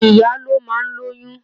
Ìyá ló máa ń lóyún